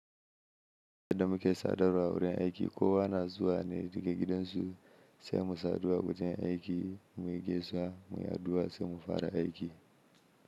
Yadda muke sadarwa a wurin aiki, kowa na zuwa ne daga gidansu sai mu sadu a wajen aiki muyi gaisuwa, muyi addu'a sai mu fara aiki.